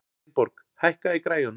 Steinborg, hækkaðu í græjunum.